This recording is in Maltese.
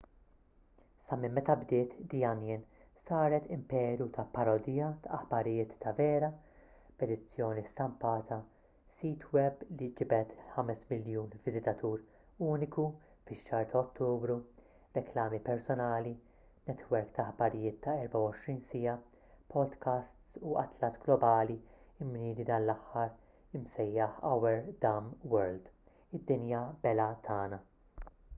sa minn meta bdiet the onion saret imperu ta’ parodija ta’ aħbarijiet ta’ vera b’edizzjoni stampata sit web li ġibed 5,000,000 viżitatur uniku fix-xahar ta’ ottubru reklami personali netwerk ta’ aħbarijiet ta’ 24 siegħa podcasts u atlas globali mniedi dan l-aħħar imsejjaħ our dumb world” id-dinja belha tagħna”